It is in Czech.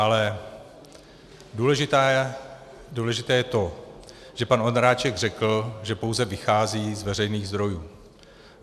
Ale důležité je to, že pan Ondráček řekl, že pouze vychází z veřejných zdrojů.